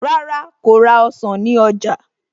Rárá, kò ra ọsàn ní ọjà